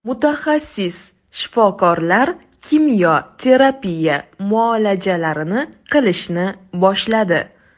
Mutaxassis shifokorlar kimyo terapiya muolajalarini qilishni boshladi.